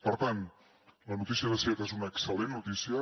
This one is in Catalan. per tant la notícia de seat és una excel·lent notícia